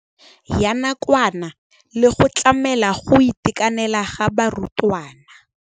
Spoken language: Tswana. ya nakwana le go tlamela go itekanela ga barutwana.